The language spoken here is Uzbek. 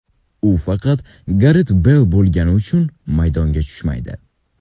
U faqat Garet Beyl bo‘lgani uchun maydonga tushmaydi.